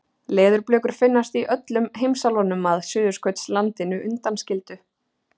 Leðurblökur finnast í öllum heimsálfunum að Suðurskautslandinu undanskildu.